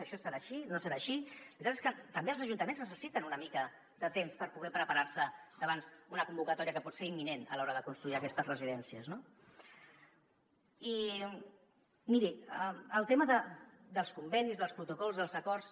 això serà així no serà així la veritat és que també els ajuntaments necessiten una mica de temps per poder preparar·se davant una convocatòria que pot ser im·minent a l’hora de construir aquestes residències no i miri el tema dels convenis dels protocols dels acords